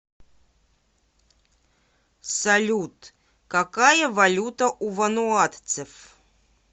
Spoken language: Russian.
салют какая валюта у вануатцев